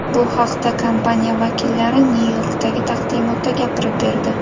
Bu haqda kompaniya vakillari Nyu-Yorkdagi taqdimotda gapirib berdi.